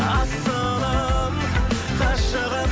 асылым ғашығым